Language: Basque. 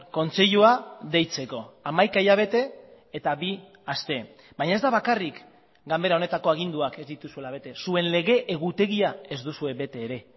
kontseilua deitzeko hamaika hilabete eta bi aste baina ez da bakarrik ganbera honetako aginduak ez dituzuela bete zuen lege egutegia ez duzue bete ere